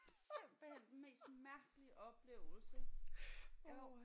Simpelthen den mest mærkelige oplevelse jo